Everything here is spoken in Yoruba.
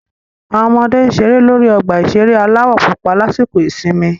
Àwọn ọmọdé ń ṣeré lórí ọgbà ìṣeré aláwọ̀ púpọ̀ lásìkò ìsinmi